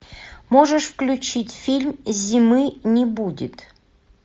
можешь включить фильм зимы не будет